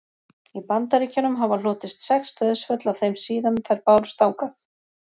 í bandaríkjunum hafa hlotist sex dauðsföll af þeim síðan þær bárust þangað